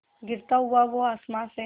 गिरता हुआ वो आसमां से